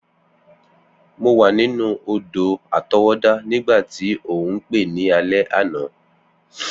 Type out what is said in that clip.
Mo wa ninu odò-àtọwọ́dá nígbàtí o n pe ni alẹ́ àná.